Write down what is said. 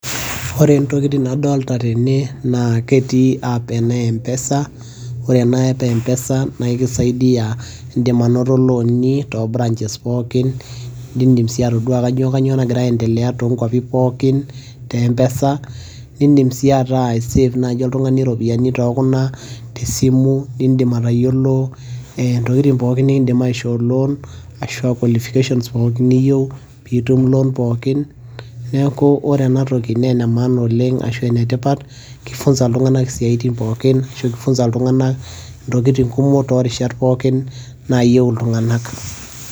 ore ntokitin nadoolta tene, naa ketii app ena empesa, naa aikisaidia idim anoto looni too branches pookin nidim sii atodua, kainyioo nagira aendelea too nkwapi pookin te mpesa. nidim sii ataa i save naaji oltungani iropiyiani too kuna tesimu, nidim atayiolo intokitin pookin nikidim aishoo loan ashu aa qualifications pookin niyieu, pee itum loan pookin, neeku ore ena toki naa ene maana oleng ashu ene tipat.ki funza iltunganak isiatin pookinashu kifunza iltunganak intokitin kumoktoorishat naayieu iltunganak.